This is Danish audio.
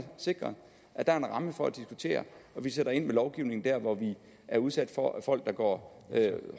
sikret at der er en ramme for at diskutere og vi sætter ind med lovgivning der hvor vi er udsat for folk der går